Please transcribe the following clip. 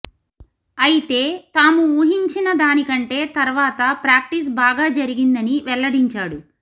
అయితే తాము ఊహించినదాని కంటే తర్వాత ప్రాక్టీస్ బాగా జరిగిందని వెల్లడించాడు